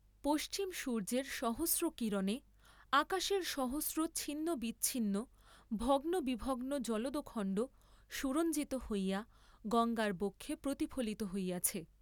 পশ্চিম সূর্য্যের সহস্র কিরণে আকাশের সহস্র ছিন্নবিছিন্ন ভগ্নবিভগ্ন জলদখণ্ড সুরঞ্জিত হইয়া গঙ্গার বক্ষে প্রতিফলিত হইয়াছে।